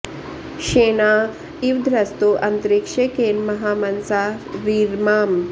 श्ये॒नाँ इ॑व॒ ध्रज॑तो अ॒न्तरि॑क्षे॒ केन॑ म॒हा मन॑सा रीरमाम